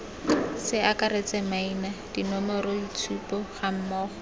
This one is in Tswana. ce akaretse maina dinomoroitshupo gammogo